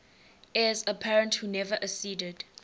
heirs apparent who never acceded